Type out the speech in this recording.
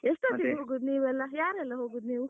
ಎಷ್ಟು ಹೊತ್ತಿಗೆ ಹೋಗುದು ನೀವೆಲ್ಲ? ಯಾರೆಲ್ಲ ಹೋಗುದು ನೀವು?